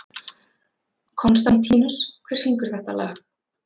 Konstantínus, hver syngur þetta lag?